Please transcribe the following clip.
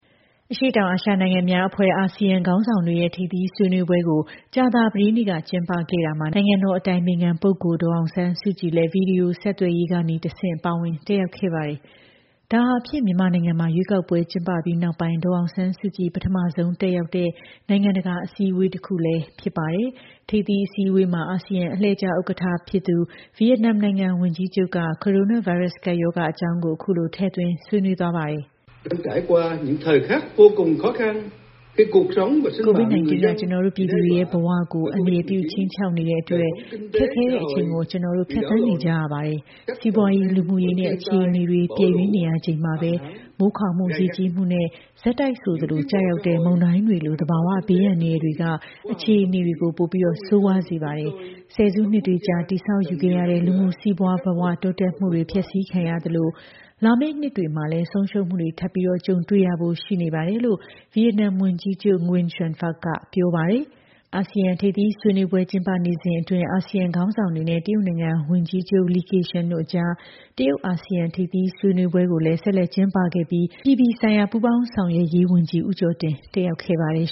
အရှေ့တောင်အာရှနိုင်ငံများအဖွဲ့ (ASEAN) ခေါင်းဆောင်တွေရဲ့ ထိပ်သီး ဆွေးနွေးပွဲကို ကြာသပတေးနေ့က ကျင်းပခဲ့ရာမှာ နိုင်ငံတော်အတိုင်ပင်ခံပုဂ္ဂိုလ် ဒေါ်အောင်ဆန်းစုကြည်လည်း ဗွီဒီယိုဆက်သွယ်ရေးကနေ တဆင့် ပါဝင် တက်ရောက်ခဲ့ပါတယ်။ ဒါဟာဖြင့် မြန်မာနိုင်ငံမှာ ရွေးကောက်ပွဲ ကျင်းပပြီးနောက်ပိုင်း ဒေါ်အောင်ဆန်းစုကြည် ပထမဆုံးတက်ရောက်တဲ့ နိုင်ငံတကာအစည်းအဝေး တခုလည်းဖြစ်ပါတယ်။ ထိပ်သီး အစည်းအဝေးမှာ အာဆီယံ အလှည့်ကျ ဥက္ကဋ္ဌ ဖြစ်သူ ဗီယက်နမ်နိုင်ငံ ဝန်ကြီးချုပ်က ကိုရိုနာဗိုင်းရပ်စ် ကပ်ရောဂါ အကြောင်းကို အခုလို ထည့်သွင်း ဆွေးနွေးသွားပါတယ်။ "COVID-19 က ကျနော်တို့ ပြည်သူတွေရဲ့ ဘဝတွေကို အန္တရာယ်ပြု ခြိမ်းခြောက်နေတဲ့အတွက် ခက်ခဲတဲ့ အချိန်ကို ကျနော်တို့ ဖြတ်သန်းနေကြရပါတယ်။ စီးပွားရေးနဲ့ လူမှုရေး အခြေအနေတွေ ပျက်ယွင်းနေရချိန်မှာပဲ မိုးခေါင်မှု၊ ရေကြီးမှုနဲ့ ဆက်တိုက်ဆိုသလို ကျရောက်တဲ့ မုန်တိုင်းတွေလို သဘာဝ ဘေးအန္တရာယ်တွေက အခြေအနေကို ပိုပြီး ဆိုးရွားနေစေပါတယ်။ ဆယ်စုနှစ်တွေကြာ တည်ဆောက်ယူခဲ့ရတဲ့ လူမှု စီးပွားဘဝ တိုးတက်မှုတွေလည်း ဖျက်ဆီးခံရသလို လာမယ့် နှစ်တွေမှာလည်း ဆုံးရှုံးမှုတွေ ထပ်မံ ကြုံတွေ့ရဖို့ ရှိနေပါတယ်။" လို့ ဗီယက်နမ် ဝန်ကြီးချုပ် NGUYEN XUAN PHUC က ပြောပါတယ်။ အာဆီယံ ထိပ်သီး ဆွေးနွေးပွဲ ကျင်းပနေစဉ်အတွင်း အာဆီယံ ခေါင်းဆောင်တွေနဲ့ တရုတ်နိုင်ငံ ဝန်ကြီးချုပ် Ki Keqiang တို့ အကြား တရုတ်၊ အာဆီယံ ထိပ်သီး ဆွေးနွေးပွဲကိုလည်း ဆက်လက် ကျင်းပခဲ့ပြီး အပြည်ပြည်ဆိုင်ရာ ပူးပေါင်းဆောင်ရွက်ရေးဝန်ကြီး ဦးကျော်တင် တက်ရောက်ခဲ့ပါတယ်